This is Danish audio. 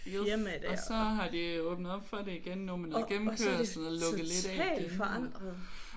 Og så har de åbnet op for det igen nu med noget gennemkørsel og lukket lidt af igen